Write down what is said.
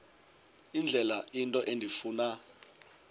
indlela into endifuna